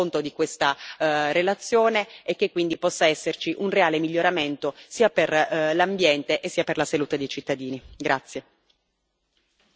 Mi auguro che la Commissione europea tenga conto di questa relazione e che quindi possa esserci un reale miglioramento sia per l'ambiente sia per la salute dei cittadini.